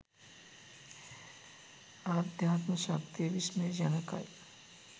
ආධ්‍යාත්ම ශක්තිය විශ්මයජනකයි.